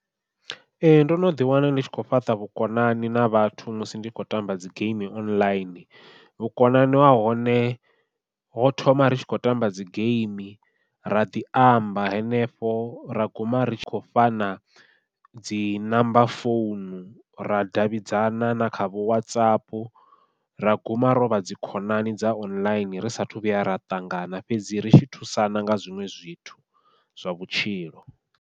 Ee ndo no ḓi wana ndi tshi khou fhaṱa vhukonani na vhathu musi ndi kho tamba dzi geimi online, vhukonani ha hone ho thoma ri tshi khou tamba dzi geimi ra ḓi amba henefho ra guma ri tshi khou fhana dzi number founu ra davhidzana na kha vho WhatsApp ra guma rovha dzi khonani dza online ri sa athu vhuya ra ṱangana fhedzi ri tshi thusana nga zwiṅwe zwithu zwa vhutshilo.